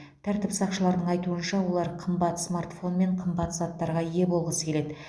тәртіп сақшыларының айтуынша олар қымбат смартфон мен қымбат заттарға ие болғысы келеді